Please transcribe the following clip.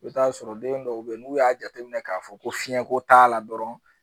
I bɛ t'a sɔrɔ den dɔw bɛ yen n'u y'a jateminɛ k'a fɔ ko fiɲɛko t'a la dɔrɔn